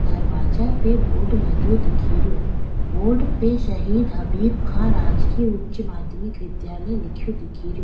दरवाजा पे बोर्ड लगयो दिखे रो बोर्ड पे शहीद हबीब खाँ राजकीय उच्च माध्यमिक विद्यालय लिख्यो दिखेरो।